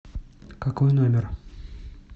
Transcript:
какой номер